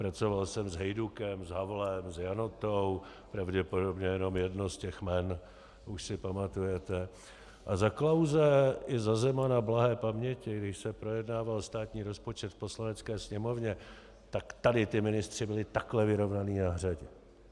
Pracoval jsem s Hejdukem, s Havlem, s Janotou, pravděpodobně jenom jedno z těch jmen už si pamatujete, a za Klause i za Zemana blahé paměti, když se projednával státní rozpočet v Poslanecké sněmovně, tak tady ti ministři byli takhle vyrovnaní na hřadě!